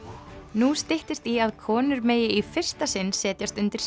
nú styttist í að konur megi í fyrsta sinn setjast undir